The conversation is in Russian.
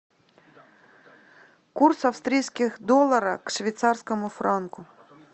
курс австрийских долларов к швейцарскому франку